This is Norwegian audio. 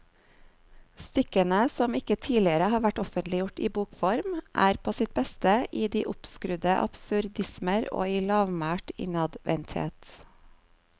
Stykkene, som ikke tidligere har vært offentliggjort i bokform, er på sitt beste i de oppskrudde absurdismer og i lavmælt innadvendthet.